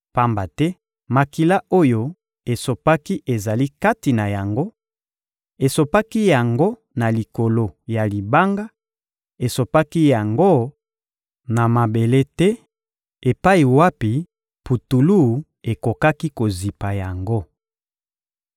Pamba te makila oyo esopaki ezali kati na yango; esopaki yango na likolo ya libanga, esopaki yango na mabele te epai wapi putulu ekokaki kozipa yango.